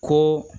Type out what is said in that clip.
Ko